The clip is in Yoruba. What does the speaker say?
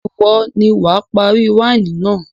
Ìwọ ni wà á parí wáìnì náà.